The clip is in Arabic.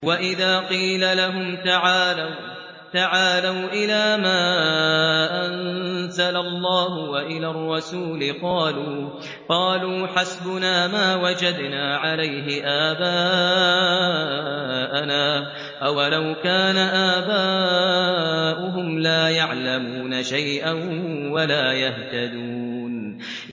وَإِذَا قِيلَ لَهُمْ تَعَالَوْا إِلَىٰ مَا أَنزَلَ اللَّهُ وَإِلَى الرَّسُولِ قَالُوا حَسْبُنَا مَا وَجَدْنَا عَلَيْهِ آبَاءَنَا ۚ أَوَلَوْ كَانَ آبَاؤُهُمْ لَا يَعْلَمُونَ شَيْئًا وَلَا يَهْتَدُونَ